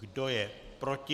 Kdo je proti?